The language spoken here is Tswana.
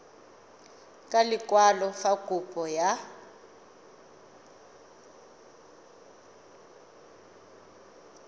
ka lekwalo fa kopo ya